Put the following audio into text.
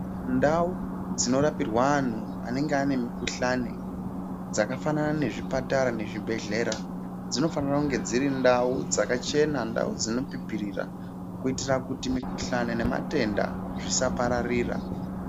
Ndau dzinorapirwa antu anenge ane mikuhlani dzakafanana nezvipatara nezvibhedhleya. Dzinofanira kunge dziri ndau dzakachena ndau dzinopipirira. Kuitira kuti mikuhlani nematenda zvisaparaira.